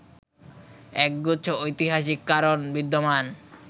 একগুচ্ছ ঐতিহাসিক কারণ বিদ্যমান